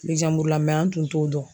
la an tun t'o dɔn.